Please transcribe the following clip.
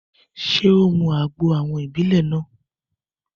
Ṣé ó mu àgbo àwọn ìbílè náà?